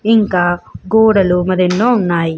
ఇంకా గోడలు మరి ఎన్నో ఉన్నాయి.